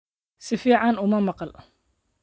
Si fiican uma maqal.